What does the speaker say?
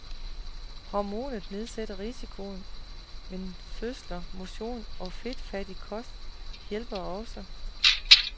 Hormonet nedsætter risikoen, men fødsler, motion og fedtfattig kost hjælper også.